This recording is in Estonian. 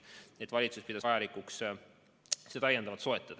Nii et valitsus pidas vajalikuks seda täiendavalt soetada.